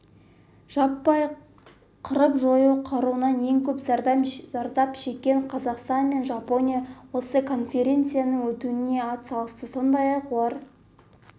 жаппай қырып-жою қаруынан ең көп зардап шеккен қазақстан мен жапония осы конференцияның өтуіне атсалысты сондай-ақ олар